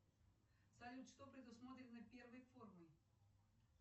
салют что предусмотрено первой формой